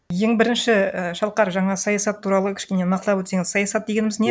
ең бірінші ііі шалқар жаңағы саясат туралы кішкене нақтылап өтсеңіз саясат дегеніміз не